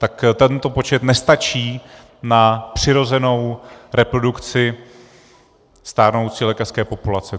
Tak tento počet nestačí na přirozenou reprodukci stárnoucí lékařské populace.